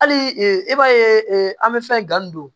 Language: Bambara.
Hali i b'a ye an bɛ fɛn gan nin don